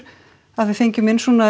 að við fengjum inn svona